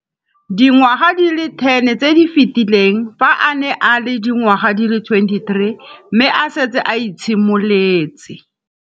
Dingwaga di le 10 tse di fetileng, fa a ne a le dingwaga di le 23 mme a setse a itshimoletse